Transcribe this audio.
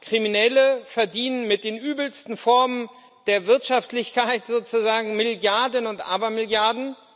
Kriminelle verdienen mit den übelsten Formen der Wirtschaftlichkeit sozusagen Milliarden und Abermilliarden.